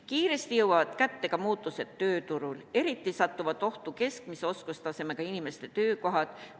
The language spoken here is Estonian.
Kiiresti jõuavad kätte ka muutused tööturul, eriti satuvad ohtu keskmise oskustasemega inimeste töökohad.